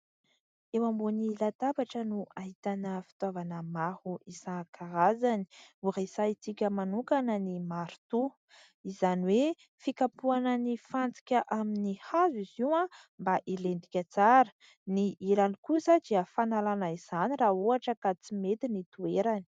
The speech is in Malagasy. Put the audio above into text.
Eo ambonin'ny latabatra no ahitana fitaovana maro isan-karazany. Horesahintsika manokana ny marotoa izany hoe fikapohana ny fantsika amin'ny hazo izy io mba hilentika tsara, ny ilany kosa dia fanalana izany raha ohatra ka tsy mety ny toerany.